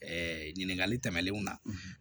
ɲininkali tɛmɛnenw na